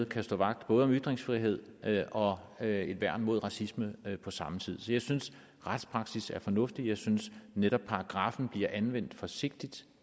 kan stå vagt om ytringsfrihed og have et værn mod racisme på samme tid så jeg synes at retspraksis er fornuftig jeg synes netop at paragraffen bliver anvendt forsigtigt